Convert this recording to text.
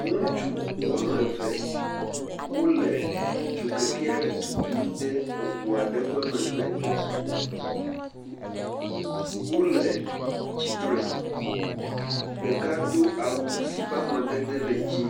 Ŋutsu woame ve wole dzokeke aɖe tutum de eŋu aɖe ƒe megbe, wole tsitre, ɖeka do awu si ƒe amadede le dzɛ̃…